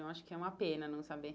Eu acho que é uma pena não saber.